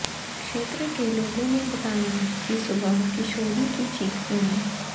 क्षेत्र के लोगों ने बताया कि सुबह किशोरी की चीख सुनी